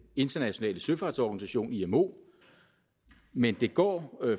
internationale søfartsorganisation imo men det går